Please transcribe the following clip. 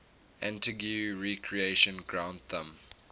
antigua recreation ground thumb